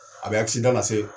A bɛ na se